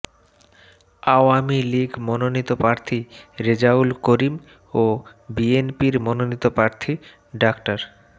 আওয়ামী লীগ মনোনীত প্রার্থী রেজাউল করিম ও বিএনপির মনোনীত প্রার্থী ডা